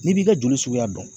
N'i b'i ka joli suguya dɔn.